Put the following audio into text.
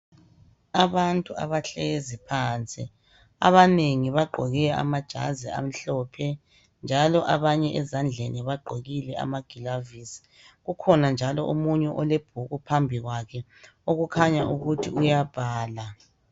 Abantu abahlezi phansi. Abanengi bagqoke amajazi amhlophe njalo abanye ezandleni bagqokile amagilavisi kukhona njalo omunye olebhuku phambi kwakhe okukhanya ukuthi uyabhala.